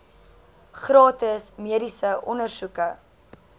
gratis mediese ondersoeke